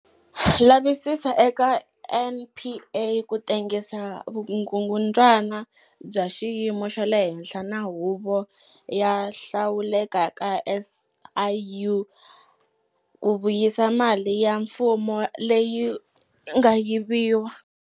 Lavisisa eka NPA ku tengisa vukungundzwana bya xiyimo xa le henhla na Huvo yo Hlawuleka ya SIU ku vuyisa mali ya mfumo leyi nga yiviwa.